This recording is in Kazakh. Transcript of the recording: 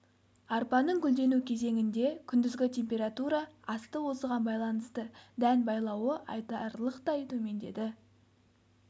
арпаның гүлдену кезеңінде күндізгі температура асты осыған байланысты дән байлауы айтарлықтай төмендеді